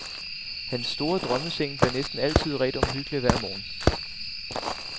Han store drømmeseng bliver næsten altid redt omhyggeligt hver morgen.